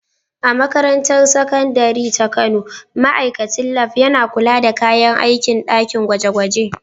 A Makarantar Sakandare ta Kano, ma’aikacin Lab yana kula da kayan aikin ɗakin gwaje-gwaje.